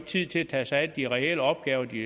tid til at tage sig af de reelle opgaver de